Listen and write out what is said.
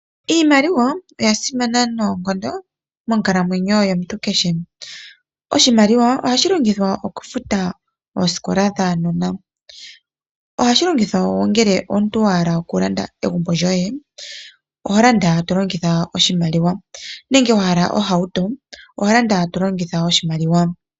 Iimaliwa oya sima noonkondo monkalamwenyo yomuntu kehe. Oshimaliwa oha shi longithwa oku futa oosikola dhaanona. Oha shi longithwa ngele omuntu a hala oku landa egumbo lyoye oho landa to longitha oshimaliwa nenge wa hala ohauto oho landa to longitha oshimaliwa.